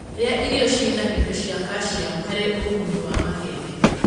rĩa irio ciĩna indo cia calcium harĩ ũguni wa mahĩndĩ